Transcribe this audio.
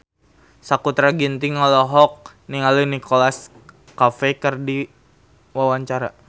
Sakutra Ginting olohok ningali Nicholas Cafe keur diwawancara